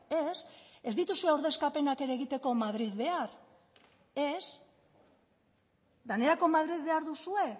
ez ez dituzue ordezkapenak ere egiteko madril behar ez denerako madril behar duzue